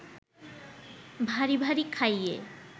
ভারি ভারি খাইয়ে